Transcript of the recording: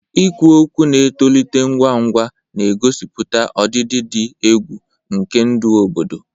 Ikwu okwu na-etolite ngwa ngwa, na-egosipụta ọdịdị dị egwu nke ndụ obodo.